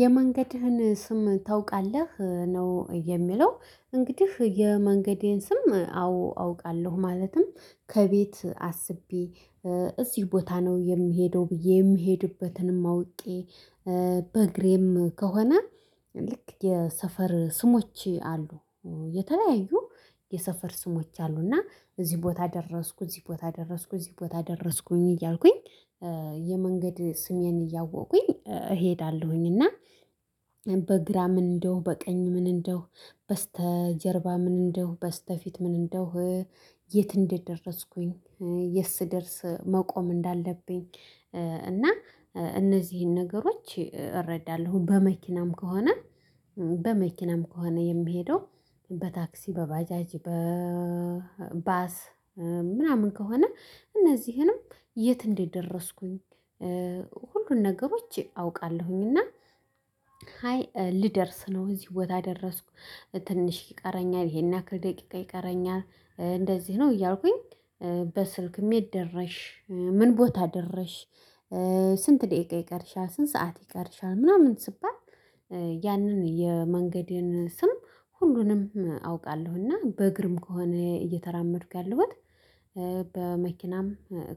የመንገድህን ስም ታውቃለህ ነው የሚለው? እንግዲህ የመንገዴን ስም አዎ አውቃለሁ ማለትም ከቤት አስቤ እዚህ ቦታ ነው የምሄደው ብዬ የምሄድበትንም አውቄ በእግሬም ከሆነ ልክ የሰፈር ስሞች አሉ የተለያዩ የሰፈር ስሞች አሉና እዚህ ቦታ ደረስኩኝ እዚህ ቦታ ደረስኩኝ እዚህ ቦታ ደረስኩኝ እያልኩኝ የመንገድ ስሜን እያወኩኝ እሄዳለሁኝ። እና በግራ ምን እንደሁ በቀኝ ምን እንደሁ በስተጀርባ ምን እንደሁ በስተፊት ምን እንደሁ የት እንደደረስኩኝ የት ስደርስ መቆም እንዳለብኝ። እና እነዚህን ነገሮች እረዳለሁ በመኪናም ከሆነ በመኪናም ከሆነ የምሄደው በታክሲ በባጃጅ በባስ ምናምን ከሆነ እነዚህንም የት እንደደረስኩኝ ሁሉን ነገሮች አውቃለሁኝ። እና ሃይ ሊደርስ ነው እዚህ ቦታ ደረስኩ ትንሽ ይቀረኛል ይሄን ያክል ደቂቃ ይቀረኛል እንደዚህ ነው እያልኩኝ። በስልክም የት ደረስሽ ምን ቦታ ደረስሽ? ስንት ደቂቃ ይቀርሻል ስንት ሰዓት ይቀርሻል ምናምን ስባል። ያንን የመንገዴን ስም ሁሉንም አውቃለሁ እና በግርም ከሆነ እየተራመድኩ ያለሁበት። በመኪናም